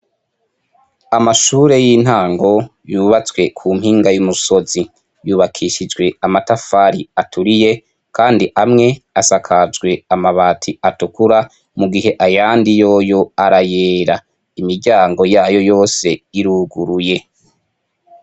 Amashure y'intango yubatswe ku mpinga y'umusozi. Yubakishijwe amatafari aturiye, kandi amwe asakajwe amabati atukura, mu gihe ayandi yoyo arayera. Imiryango yayo yose iruguruye.